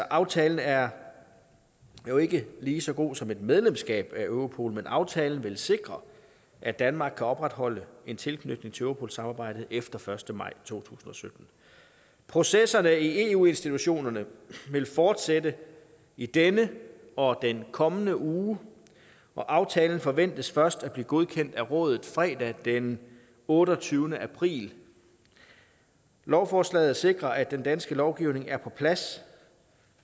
aftalen er jo ikke lige så god som et medlemskab af europol men aftalen vil sikre at danmark kan opretholde en tilknytning til europol samarbejdet efter den første maj to tusind og sytten processerne i eu institutionerne vil fortsætte i denne og i den kommende uge og aftalen forventes først at blive godkendt af rådet fredag den otteogtyvende april lovforslaget sikrer at den danske lovgivning er på plads